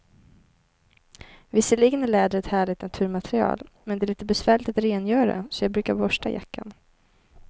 Visserligen är läder ett härligt naturmaterial, men det är lite besvärligt att rengöra, så jag brukar borsta jackan.